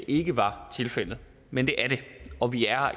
ikke var tilfældet men det er det og vi er